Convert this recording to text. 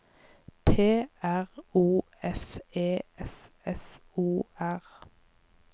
P R O F E S S O R